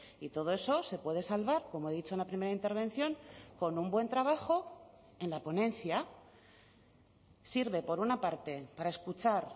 y todo eso se puede salvar como he dicho en la primera intervención con un buen trabajo en la ponencia sirve por una parte para escuchar